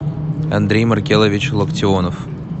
андрей маркелович локтионов